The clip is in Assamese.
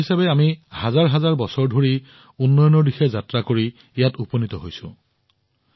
এক ৰাষ্ট্ৰ হিচাপে আমি হাজাৰ হাজাৰ বছৰৰ উন্নয়ন ভ্ৰমণ কৰি ইয়াত উপনীত হৈছো